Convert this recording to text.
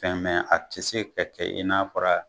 Fɛn a ti se ka kɛ i n'a